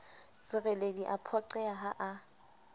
sereledi a phoqeha ha a